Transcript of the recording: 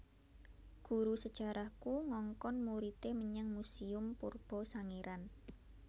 Guru sejarahku ngongkon muride menyang museum purba Sangiran